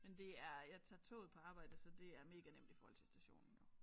Men det er jeg tager toget på arbejde så det er mega nemt i forhold til stationen jo